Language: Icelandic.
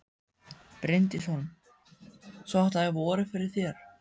Bryndís Hólm: Svo þetta er vorið fyrir þér?